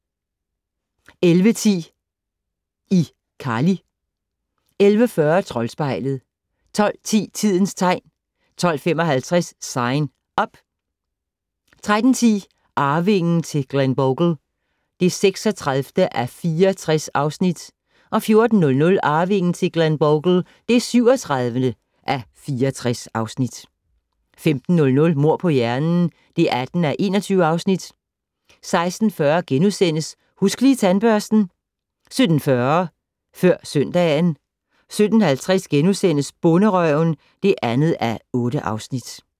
11:10: iCarly 11:40: Troldspejlet 12:10: Tidens tegn 12:55: Sign Up 13:10: Arvingen til Glenbogle (36:64) 14:00: Arvingen til Glenbogle (37:64) 15:00: Mord på hjernen (18:21) 16:40: Husk Lige Tandbørsten * 17:40: Før søndagen 17:50: Bonderøven (2:8)*